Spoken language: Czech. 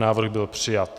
Návrh byl přijat.